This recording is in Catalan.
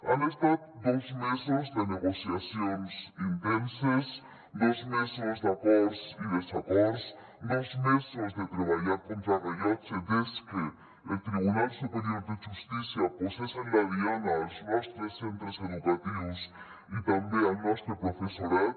han estat dos mesos de negociacions intenses dos mesos d’acords i desacords dos mesos de treballar contra rellotge des que el tribunal superior de justícia posés en la diana els nostres centres educatius i també el nostre professorat